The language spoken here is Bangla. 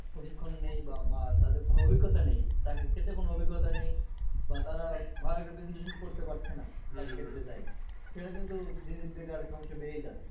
প্রশিক্ষণ নেই বা তাদের কোনো অভিজ্ঞতা নেই চাকরি ক্ষেত্রে কোনো অভিজ্ঞতা নেই। বা তারা ভালোভাবে presentation করতে পারছে না। সে কারণে কিন্তু দিন দিন বেকারের সমস্যা বেড়েই যাচ্ছে।